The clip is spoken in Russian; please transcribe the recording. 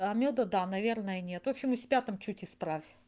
а мёда да наверно нет в общем и в пятом чуть исправь